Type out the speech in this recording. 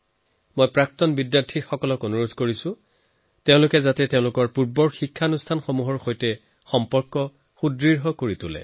মই প্ৰাক্তন বিদ্যাৰ্থীসকলক আহ্বান জনাও যে তেওঁলোকে যি প্ৰতিষ্ঠানত পঢ়াশুনা কৰিলে তাৰ সৈতে নিজৰ সম্পৰ্ক আৰু অধিক শক্তিশালী কৰি থাকক